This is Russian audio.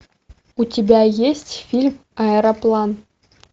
у тебя есть фильм аэроплан